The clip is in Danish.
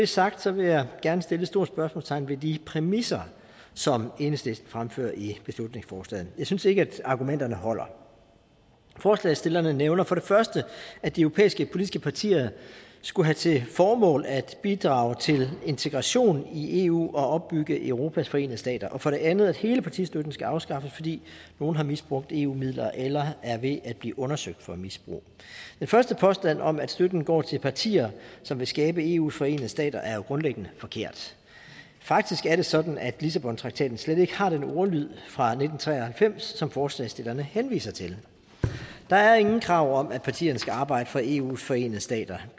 sagt vil jeg gerne sætte et stort spørgsmålstegn ved de præmisser som enhedslisten fremfører i beslutningsforslaget jeg synes ikke at argumenterne holder forslagsstillerne nævner for det første at de europæiske politiske partier skulle have til formål at bidrage til integration i eu og opbygge europas forenede stater og for det andet at hele partistøtten skal afskaffes fordi nogle har misbrugt eu midler eller er ved at blive undersøgt for misbrug den første påstand om at støtten går til partier som vil skabe eus forenede stater er grundlæggende forkert faktisk er det sådan at lissabontraktaten slet ikke har den ordlyd fra nitten tre og halvfems som forslagsstillerne henviser til der er ingen krav om at partierne skal arbejde for eus forenede stater